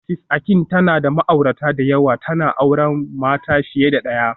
Mrs Akin tana da ma'aurata da yawa, tana auren mata fiye da daya